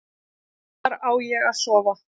Hvar á ég að sofa?